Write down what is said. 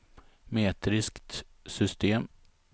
metriskt system